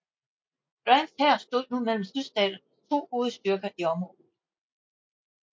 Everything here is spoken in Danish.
Grants hær stod nu mellem Sydstaternes to hovedstyrker i området